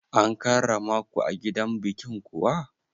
An karramaku a gidan bikin kuwa?